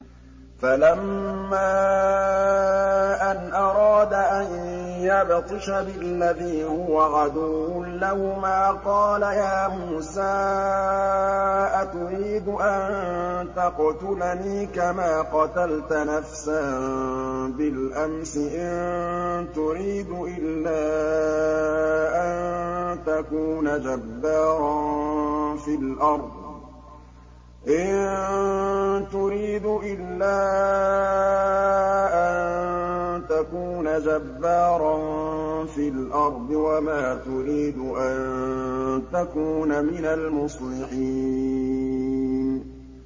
فَلَمَّا أَنْ أَرَادَ أَن يَبْطِشَ بِالَّذِي هُوَ عَدُوٌّ لَّهُمَا قَالَ يَا مُوسَىٰ أَتُرِيدُ أَن تَقْتُلَنِي كَمَا قَتَلْتَ نَفْسًا بِالْأَمْسِ ۖ إِن تُرِيدُ إِلَّا أَن تَكُونَ جَبَّارًا فِي الْأَرْضِ وَمَا تُرِيدُ أَن تَكُونَ مِنَ الْمُصْلِحِينَ